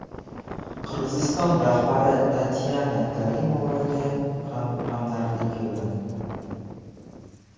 Qirg‘iziston rahbari Tatyana Karimovaga ham hamdardlik yo‘lladi.